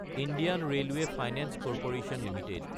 Indian railway finance corporation Ltd